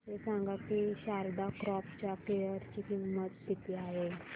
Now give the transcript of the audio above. हे सांगा की शारदा क्रॉप च्या शेअर ची किंमत किती आहे